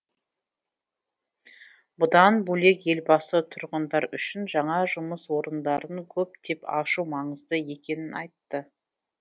бұдан бөлек елбасы тұрғындар үшін жаңа жұмыс орындарын көптеп ашу маңызды екенін айтты